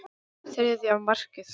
Þriðja markið.